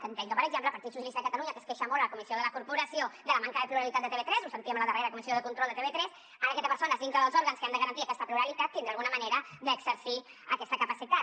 entenc que per exemple el partit dels socialistes de catalunya que es queixa molt a la comissió de la corporació de la manca de pluralitat de tv3 ho sentíem a la darrera comissió de control de tv3 ara aquesta persona dintre dels òrgans que han de garantir aquesta pluralitat tindrà alguna manera d’exercir aquesta capacitat